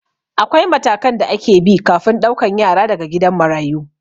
Akwai matakan da ake bi kafin ɗaukan yara daga gidan marayu